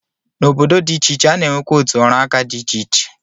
N'obodo dị iche iche, a na-enwekwa otu ọrụaka dị iche iche.